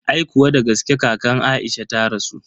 Aikuwa dagaske kakan Aisha ta rasu.